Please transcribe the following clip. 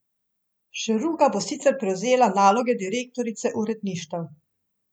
Šeruga bo sicer prevzela naloge direktorice uredništev.